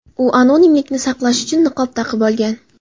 U anonimlikni saqlash uchun niqob taqib olgan.